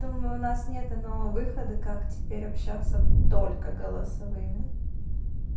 думаю у нас нет иного выхода как теперь общаться только голосовыми